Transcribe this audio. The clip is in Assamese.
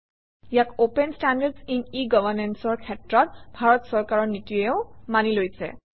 ইয়াক open standards in e Governance অৰ ক্ষেত্ৰত ভাৰত চৰকাৰৰ নীতিয়েও মানি লৈছে